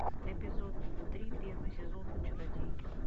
эпизод три первый сезон чародейки